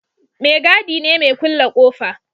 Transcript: Mai gadi ne mai kulle ƙofa